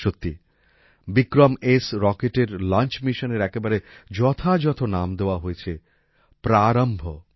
সত্যি বিক্রম এস রকেটের লঞ্চ মিশনের একেবারে যথাযথ নাম দেওয়া হয়েছে প্রারম্ভ